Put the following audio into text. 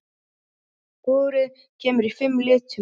Púðrið kemur í fimm litum.